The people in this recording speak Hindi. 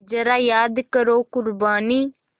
ज़रा याद करो क़ुरबानी